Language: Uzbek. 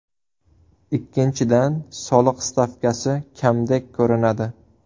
Ikkinchidan, soliq stavkasi kamdek ko‘rinadi.